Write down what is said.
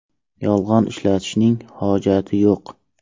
Yolg‘on ishlatishning hojati yo‘q.